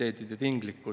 Aitäh, austatud esimees!